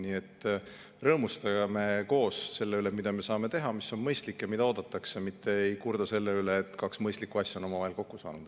Nii et rõõmustame koos selle üle, mida me saame teha, mis on mõistlik ja mida oodatakse, mitte ärme kurdame selle üle, et kaks mõistlikku asja on omavahel kokku saanud.